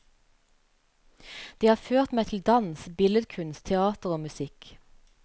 Det har ført meg til dans, billedkunst, teater og musikk.